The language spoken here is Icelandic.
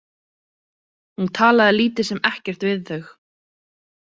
Hún talaði lítið sem ekkert við þau.